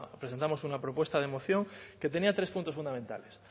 presentamos una propuesta de moción que tenía tres puntos fundamentales